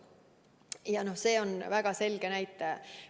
Ja see on väga selge näitaja.